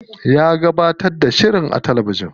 Ya gabatar da shirin a talabijin.